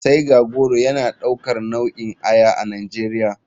Tiger goro yana daukar nau'in aya a nigeria.